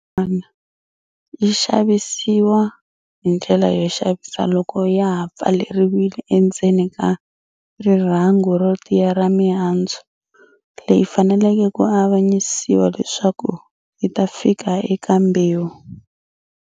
Yin'wana yi xavisiwa hi ndlela yo xavisa loko ya ha pfaleriwile endzeni ka rirhangu ro tiya ra mihandzu, leyi faneleke ku avanyisiwa leswaku yita fika eka mbewu.